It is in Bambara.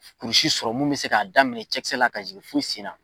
Kulusi sɔrɔ mun bɛ se k'a daminɛ cɛkisɛ la ka jigin fo sen na.